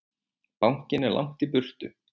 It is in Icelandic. Bankinn er langt í burtu.